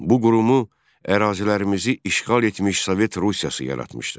Bu qurumu ərazilərimizi işğal etmiş Sovet Rusiyası yaratmışdı.